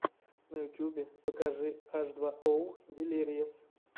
на ютьюбе покажи аш два оу дилириэс